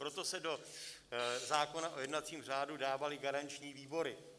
Proto se do zákona o jednacím řádu dávaly garanční výbory.